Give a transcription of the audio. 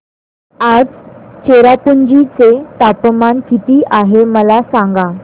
आज चेरापुंजी चे तापमान किती आहे मला सांगा